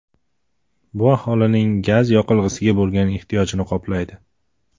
Bu aholining gaz yoqilg‘isiga bo‘lgan ehtiyojini qoplaydi.